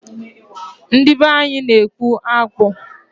Ndị be anyị na-ekpu akpu.